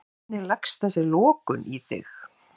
Hvernig leggst þessi lokun í þig?